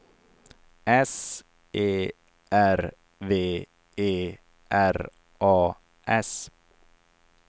S E R V E R A S